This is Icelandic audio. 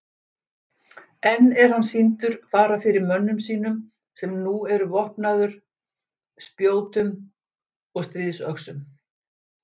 Enn er hann sýndur fara fyrir mönnum sínum sem nú eru vopnaður spjótum og stríðsöxum.